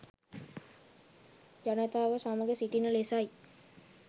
ජනතාව සමග සිටින ලෙසයි